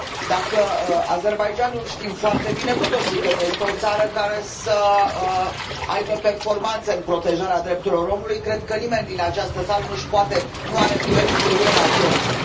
Dacă Azerbaidjanul știm foarte bine cu toții că nu este o țară care să aibă performanțe în protejarea drepturilor omului, cred că nimeni din această sală nu are îndoieli cu privire la Georgia.